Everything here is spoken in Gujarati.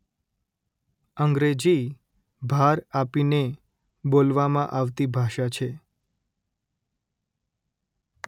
અંગ્રેજી ભાર આપીને બોલવામાં આવતી ભાષા છે